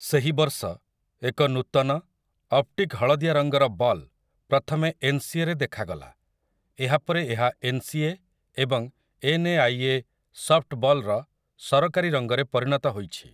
ସେହି ବର୍ଷ, ଏକ ନୂତନ, ଅପ୍ଟିକ୍ ହଳଦିଆ ରଙ୍ଗର ବଲ୍ ପ୍ରଥମେ ଏନ୍ସିଏରେ ଦେଖାଗଲା, ଏହା ପରେ ଏହା 'ଏନ୍ ସି ଏ' ଏବଂ 'N A I A' softball ର ସରକାରୀ ରଙ୍ଗରେ ପରିଣତ ହୋଇଛି ।